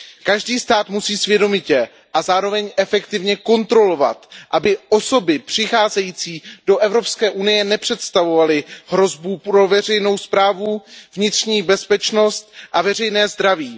Každý stát musí svědomitě a zároveň efektivně kontrolovat, aby osoby přicházející do EU nepředstavovaly hrozbu pro veřejnou správu, vnitřní bezpečnost a veřejné zdraví.